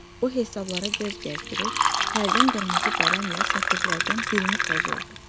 O hesablara göz gəzdirir, hərdən qırmızı qələmlə sətirlərdən birini pozurdu.